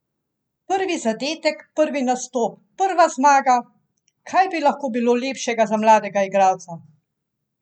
Prvi zadetek, prvi nastop, prva zmaga, kaj bi lahko bilo lepšega za mladega igralca?